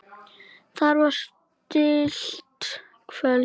Þetta var tryllt kvöld.